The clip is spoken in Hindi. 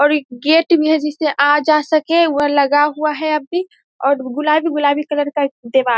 और एक गेट भी जिस से आ जा सके वह लगा हुआ है अभी और गुलाबी-गुलाबी कलर का एक देवाल --